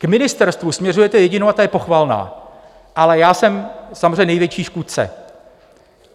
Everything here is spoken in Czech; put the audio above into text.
K ministerstvu směřujete jedinou a ta je pochvalná, ale já jsem samozřejmě největší škůdce.